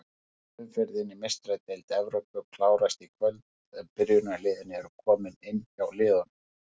Fjórða umferðin í Meistaradeild Evrópu klárast í kvöld en byrjunarliðin eru komin inn hjá liðunum.